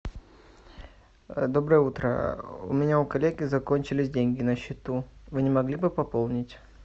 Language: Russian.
доброе утро у меня у коллеги закончились деньги на счету вы не могли бы пополнить